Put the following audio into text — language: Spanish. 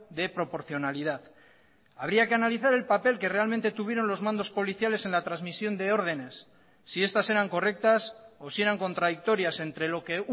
de proporcionalidad habría que analizar el papel que realmente tuvieron los mandos policiales en la transmisión de ordenes si estas eran correctas o si eran contradictorias entre lo que